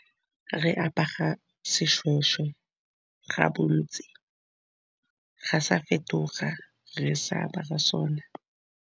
Re apara seshweshwe ka bontsi ga sa fetoga re sa apara sone.